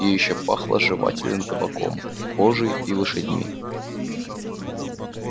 и ещё пахло жевательным табаком кожей и лошадьми